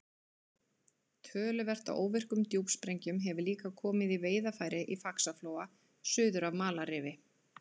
Töluvert af óvirkum djúpsprengjum hefur líka komið í veiðarfæri í Faxaflóa suður af Malarrifi.